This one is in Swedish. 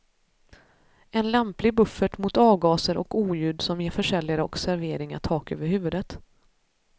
En lämplig buffert mot avgaser och oljud som ger försäljare och serveringar tak över huvudet.